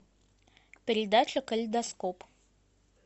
передача калейдоскоп